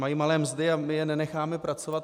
Mají malé mzdy a my je nenecháme pracovat.